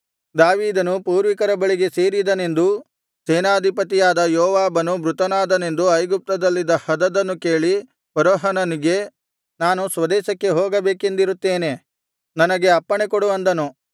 ದಾವೀದನು ಪೂರ್ವಿಕರ ಬಳಿಗೆ ಸೇರಿದನೆಂದೂ ಸೇನಾಧಿಪತಿಯಾದ ಯೋವಾಬನು ಮೃತನಾದನೆಂದೂ ಐಗುಪ್ತದಲ್ಲಿದ್ದ ಹದದನು ಕೇಳಿ ಫರೋಹನನಿಗೆ ನಾನು ಸ್ವದೇಶಕ್ಕೆ ಹೋಗಬೇಕೆಂದಿರುತ್ತೇನೆ ನನಗೆ ಅಪ್ಪಣೆ ಕೊಡು ಅಂದನು